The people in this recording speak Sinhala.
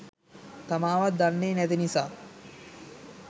තමාවත් දන්නෙ නැති නිසා.